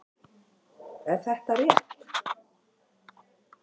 Er þetta rétt?